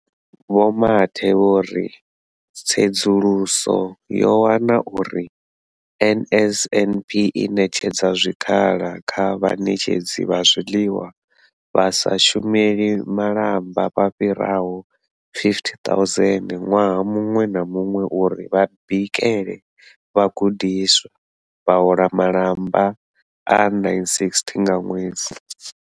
Vho Mathe vho ri, Tsedzuluso yo wana uri NSNP i ṋetshedza zwikhala kha vhaṋetshedzi vha zwiḽiwa vha sa shumeli malamba vha fhiraho 50 000 ṅwaha muṅwe na muṅwe uri vha bikele vhagudiswa, vha hola malamba a R960 nga ṅwedzi.